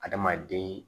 Adamaden